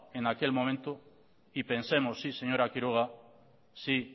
en aquel momento y pensemos sí señora quiroga sí